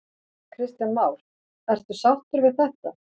Kristján Már: Ertu sáttur við þetta?